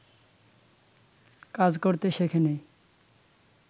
কাজ করতে শেখে নি